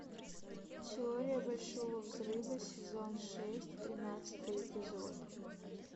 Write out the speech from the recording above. теория большого взрыва сезон шесть тринадцатый эпизод